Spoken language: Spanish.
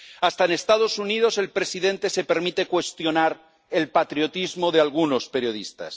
hasta en los Estados Unidos el presidente se permite cuestionar el patriotismo de algunos periodistas.